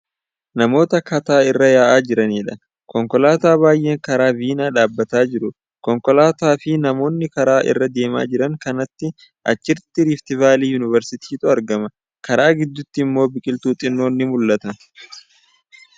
Namoota kataa irra yaa'aa jirandha. Konkolaataa baay'een karaa vinaa dhaabbataa jiru. Konkolaataa fi namoota karaa irra deemaa jiran kanaan achitti riiftivaalii yunivarsiitiitu argama. Karaa gidduutti immoo biqiltuu xinnoon ni mul'atti.